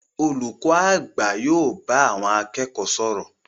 Olùkọ àgbà yóò bá àwọn akẹ́kọ̀ọ́ sọ̀rọ̀.